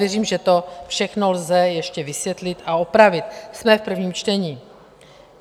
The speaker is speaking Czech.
Věřím, že to všechno lze ještě vysvětlit a opravit, jsme v prvním čtení.